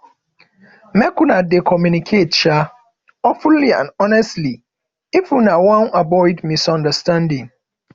make una dey communicate um openly and honestly if una wan avoid misunderstanding